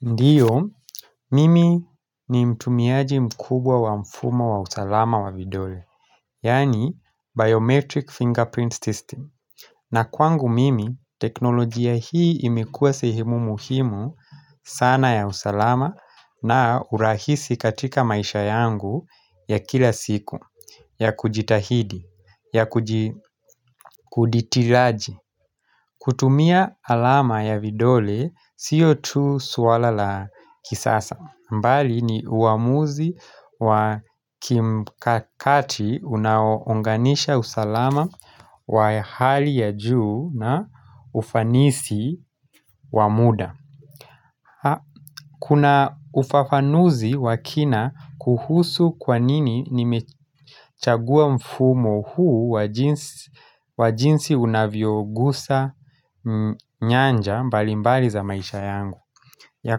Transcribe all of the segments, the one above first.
Ndiyo, mimi ni mtumiaji mkubwa wa mfumo wa usalama wa vidole, yaani Biometric Fingerprint System. Na kwangu mimi, teknolojia hii imekuwa sehemu muhimu sana ya usalama na urahisi katika maisha yangu ya kila siku, ya kujitahidi, ya kuditiraji. Kutumia alama ya vidole, siyo tu suwala la kisasa mbali ni uamuzi wa kimkakati unaounganisha usalama wa hali ya juu na ufanisi wa muda. Kuna ufafanuzi wa kina kuhusu kwa nini nimechagua mfumo huu wa jinsi unavyogusa nyanja mbalimbali za maisha yangu ya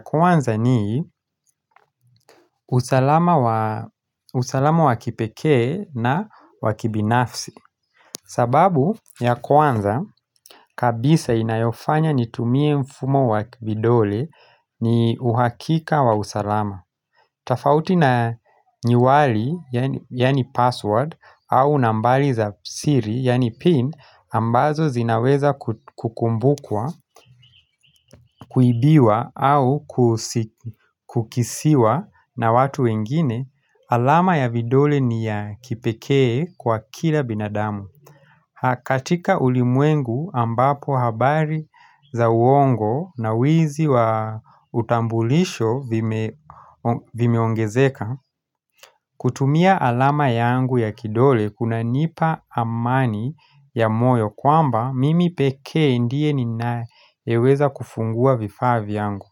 kwanza ni usalama wa kipekee na wa kibinafsi sababu ya kwanza kabisa inayofanya nitumie mfumo wa kibidole ni uhakika wa usalama tafauti na nyuwali, yaani password, au nambali za siri, yaani pin, ambazo zinaweza kukumbukwa, kuibiwa, au kukisiwa na watu wengine, alama ya vidole ni ya kipekee kwa kila binadamu. Hakatika ulimwengu ambapo habari za uongo na wizi wa utambulisho vimeongezeka kutumia alama yangu ya kidole kunanipa amani ya moyo kwamba mimi pekee ndiye ninayeweza kufungua vifaa vyangu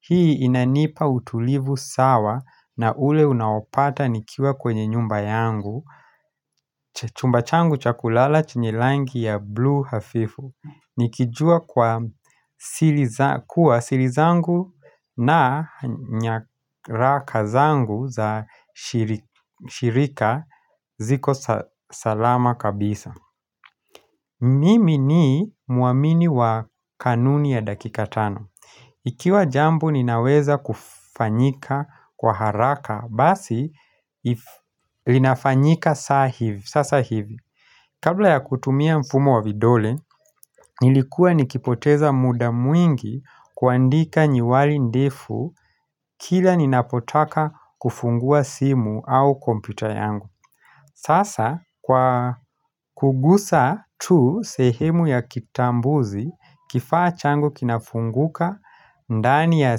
Hii inanipa utulivu sawa na ule unaopata nikiwa kwenye nyumba yangu Chumba changu cha kulala chenye langi ya blue hafifu Nikijua kwa sili zangu na nyaraka zangu za shirika ziko salama kabisa Mimi ni muamini wa kanuni ya dakika tano Ikiwa jambo ninaweza kufanyika kwa haraka basi, linafanyika sasa hivi Kabla ya kutumia mfumo wa vidole, nilikuwa nikipoteza muda mwingi kuandika nyiwali ndefu kila ninapotaka kufungua simu au kompyuta yangu Sasa kwa kugusa tu sehemu ya kitambuzi kifaa changu kinafunguka ndani ya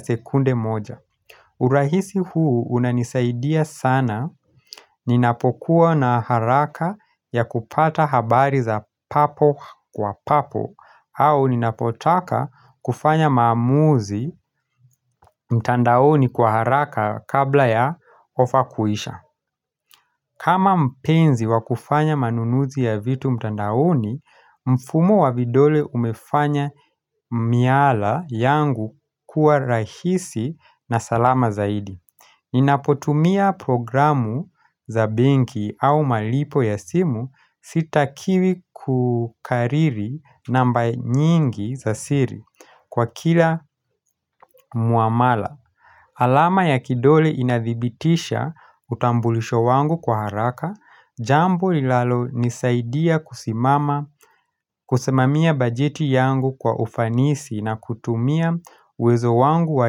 sekunde moja urahisi huu unanisaidia sana ninapokuwa na haraka ya kupata habari za papo kwa papo au ninapotaka kufanya maamuzi mtandaoni kwa haraka kabla ya ofa kuisha kama mpenzi wa kufanya manunuzi ya vitu mtandaoni, mfumo wa vidole umefanya miala yangu kuwa rahisi na salama zaidi Ninapotumia programu za benki au malipo ya simu sitakiwi kukariri namba nyingi za siri kwa kila muamala alama ya kidole inadhibitisha utambulisho wangu kwa haraka, jambo linalo nisaidia kusimama, kusemamia bajeti yangu kwa ufanisi na kutumia uwezo wangu wa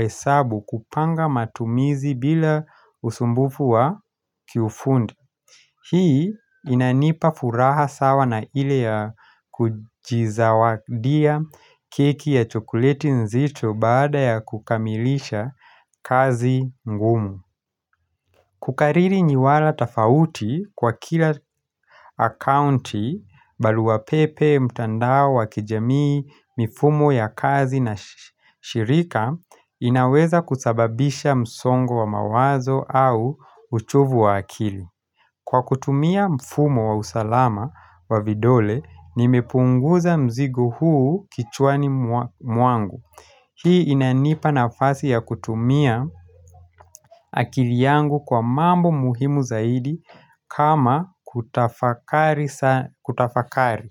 hesabu kupanga matumizi bila usumbufu wa kiufundi. Hii inanipa furaha sawa na ile ya kujizawadia keki ya chokuleti nzito baada ya kukamilisha kazi ngumu Kukariri nyiwala tafauti kwa kila akaunti baluwa pepe, mtandao wa kijamii, mifumo ya kazi na shirika inaweza kusababisha msongo wa mawazo au uchovu wa akili Kwa kutumia mfumo wa usalama wa vidole, nimepunguza mzigo huu kichwani mwangu. Hii inanipa nafasi ya kutumia akili yangu kwa mambo muhimu zaidi kama kutafakari.